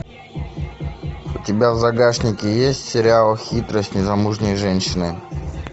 у тебя в загашнике есть сериал хитрость незамужней женщины